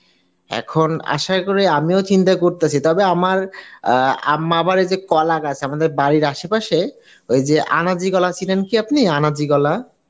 এখন আশা করি আমিও চিন্তা করিতেসি তবে আমার আম্মা বলে যে কলাগাছ তবে আমাদের বাড়ির আশেপাশে ওইযে আনাজি কলা চিনেন কি আপনি আনাজি কলা?